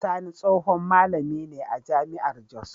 Sani tsohon malami ne a jami'ar Jos.